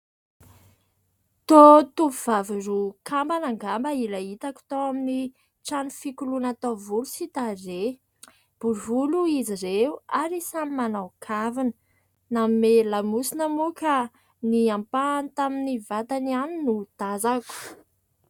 Toa tovovavy roa kambana angamba ilay hitako tao amin'ny trano fikoloana taovolo sy tarehy. Bory volo izy ireo ary samy manao kavina. Manome lamosina moa ka ny ampahany tamin'ny vatany ihany no tazako.